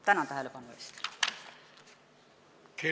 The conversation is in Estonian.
Tänan tähelepanu eest!